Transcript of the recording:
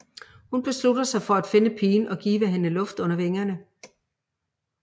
Hun beslutter sig for at finde pigen og give hende luft under vingerne